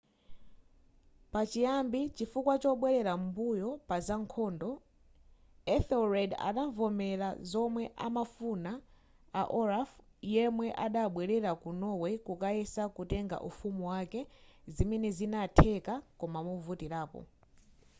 pachiyambi chifukwa chobwelera m'mbuyo paza nkhondo ethelred adavomera zomwe amafuna a olaf yemwe adabwelera ku norway kukayesa kutenga ufumu wake zimene zinatheka koma movutirapo